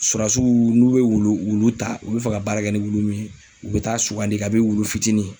Surasiw n'u bɛ wulu wulu ta, u bɛ fɛ ka baara kɛ ni wulu min ye, u bɛ t'a sugandi kabini wulu fitinin.